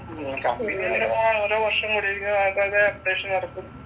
Company ഓരോ വർഷം കൂടിയിരിക്കുമ്പോൾ അപ്‌ഡേഷൻ ഇറക്കും.